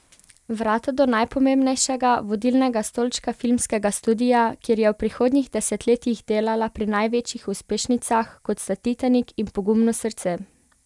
Vrata do najpomembnejšega, vodilnega stolčka filmskega studia, kjer je v prihodnjih desetletjih delala pri največjih uspešnicah, kot sta Titanik in Pogumno srce.